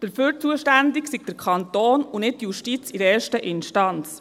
Dafür sei der Kanton zuständig, und nicht die Justiz in erster Instanz.